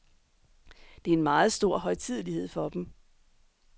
Det er en meget stor højtidelighed for dem.